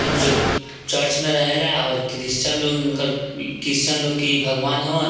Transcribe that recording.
जो जो चर्च में रहेला और क्रिस्चियन लोग क्रिस्टियन लोग की भगवान है।